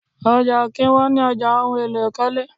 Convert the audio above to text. Ọjà ó kí ń wọn ní ọjà ohùn èlò ikọle